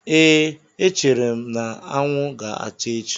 Ee, echere m na anwụ ga-acha echi.